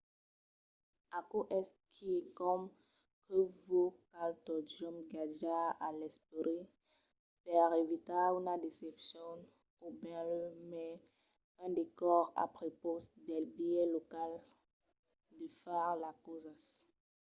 aquò es quicòm que vos cal totjorn gardar a l’esperit per evitar una decepcion o benlèu mai un descòr a prepaus del biais local de far las causas